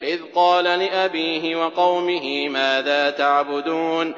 إِذْ قَالَ لِأَبِيهِ وَقَوْمِهِ مَاذَا تَعْبُدُونَ